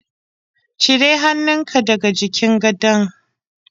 Cire hannunka daga jikin gadon.